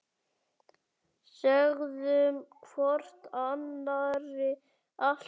Sögðum hvor annarri allt.